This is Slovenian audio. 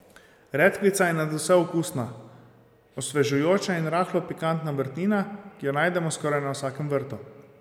Redkvica je nadvse okusna, osvežujoča in rahlo pikantna vrtnina, ki jo najdemo skoraj na vsakem vrtu.